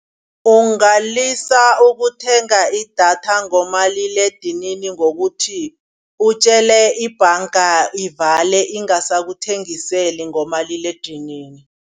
Ungalisa ukuthenga idatha ngomaliledinini ngokuthi. Utjele ibhanga ivale ingasakuthengiseli ngomaliledinini.